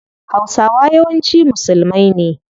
Hausawa yawanci musulmai ne